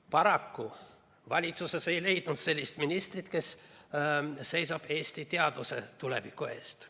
Paraku valitsuses ei leidunud ministrit, kes seisab Eesti teaduse tuleviku eest.